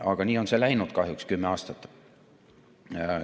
Aga nii on see käinud kahjuks kümme aastat.